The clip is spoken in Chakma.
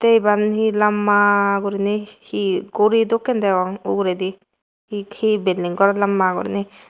iban he lamba guriney he guri dokken degong uguredi he bilding gor lamba guriney.